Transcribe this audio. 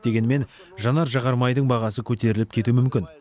дегенмен жанар жағармайдың бағасы көтеріліп кетуі мүмкін